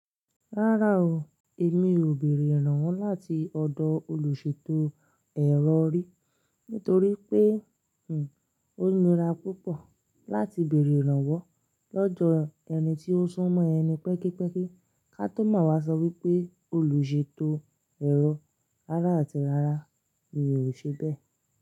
Rárá o, èmi ò béèrè iránwo láti ọ̀dọ̀ olùṣètò ẹ̀rọ rí, nítorí pé ò ńira púpọ̀ láti bèèrè ìrànwọ́ lọ́do ẹni tí ó sún mọ́ ẹni pẹ́kípẹ́kí, ká tó máa wá sọ wípé olùṣètò ẹ̀rọ. Rárá àti rárá mi ò ṣe bẹ́ẹ̀